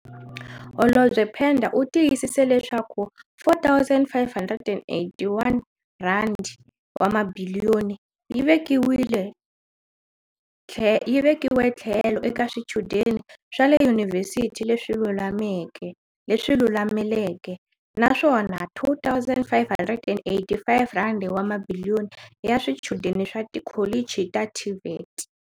Holobye Pandor u tiyisise leswaku R4, 581 wa mabiliyoni yi vekiwe tlhelo eka swichudeni swa le yunivhesiti leswi lulameleke, naswona R2, 585 wa mabiliyoni i ya swichudeni swa tikholichi ta TVET.